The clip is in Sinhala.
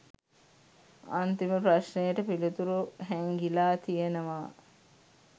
අත්තිම ප්‍රශ්නයට පිලිතුරු හැන්ගිලා තියනවා